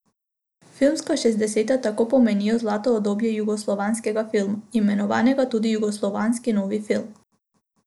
Filmska šestdeseta tako pomenijo zlato obdobje jugoslovanskega filma, imenovanega tudi jugoslovanski novi film.